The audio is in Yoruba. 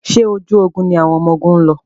Ṣé ojú ogun ni àwọn ọmọgun ń lọ?